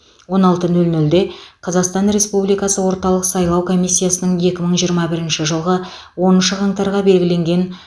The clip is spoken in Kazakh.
он алты нөл нөлде қазақстан республикасы орталық сайлау комиссиясының екі мың жиырма бірінші жылғы оныншы қаңтарға белгіленген